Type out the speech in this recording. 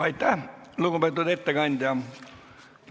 Aitäh, lugupeetud ettekandja!